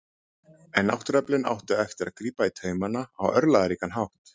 en náttúruöflin áttu eftir að grípa í taumana á örlagaríkan hátt